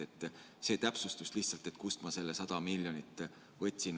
See oli lihtsalt täpsustus, et kust ma selle 100 miljonit võtsin.